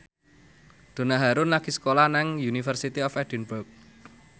Donna Harun lagi sekolah nang University of Edinburgh